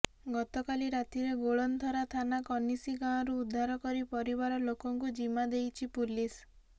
ଗତକାଲି ରାତିରେ ଗୋଳନ୍ଥରା ଥାନା କନିସି ଗାଁରୁ ଉଦ୍ଧାର କରି ପରିବାର ଲୋକଙ୍କୁ ଜିମା ଦେଇଛି ପୁଲିସ